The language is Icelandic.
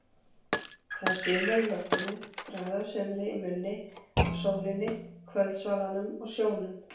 Það er sumar í loftinu, bragð af sumri í munni, af sólinni, kvöldsvalanum og sjónum.